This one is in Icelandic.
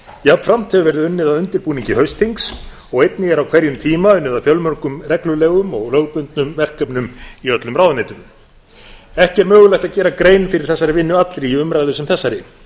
jafnframt hefur verið unnið að undirbúningi haustþings og einnig er á hverjum tíma unnið að fjölmörgum reglulegum og lögbundnum verkefnum í öllum ráðuneytum ekki er mögulegt að gera grein fyrir þessari vinnu allri í umræðu sem þessari